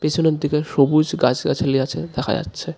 পেছনের দিকে সবুজ গাছগাছালি আছে দেখা যাচ্ছে .